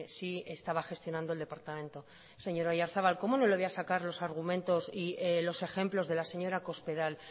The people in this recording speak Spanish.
sí estaba gestionando el departamento señor oyarzabal como no le voy a sacar los argumentos y los ejemplos de la señora cospedal